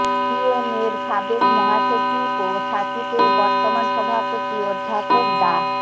বিএমএর সাবেক মহাসচিব ও স্বাচিপের বর্তমান সভাপতি অধ্যাপক ডা